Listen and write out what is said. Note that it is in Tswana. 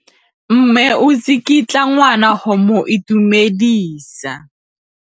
Mme o tsikitla ngwana go mo itumedisa.